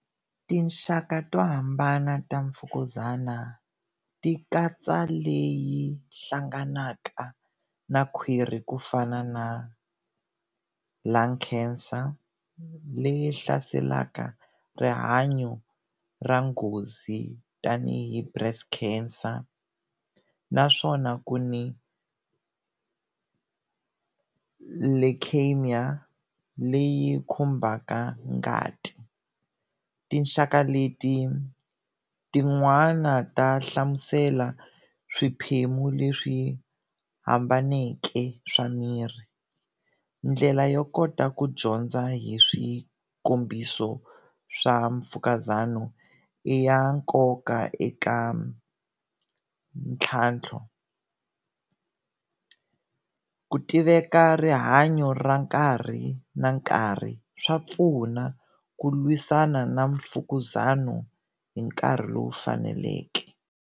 Tinxaka to hambana ta mfukuzana ti katsa leyi hlanganaka na khwirhi ku fana na lung cancer leyi hlaselaka rihanyo ra nghozi tanihi breast cancer naswona ku ni Leukemia leyi khumbaka ngati. Tinxaka leti tin'wana ta hlamusela swiphemu leswi hambaneke swa miri, ndlela yo kota ku dyondza hi swikombiso swa mfukuzana i ya nkoka eka ntlhantlho. ku tiveka rihanyo ra nkarhi na nkarhi swa pfuna ku lwisana na mfukuzana hi nkarhi lowu faneleke.